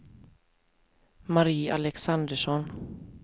Marie Alexandersson